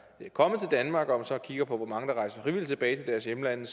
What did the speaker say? kommet til danmark og så kigger på hvor mange der rejser frivilligt tilbage til deres hjemlande